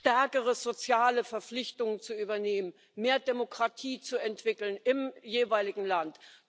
stärkere soziale Verpflichtungen zu übernehmen, mehr Demokratie zu entwickeln im jeweiligen Land.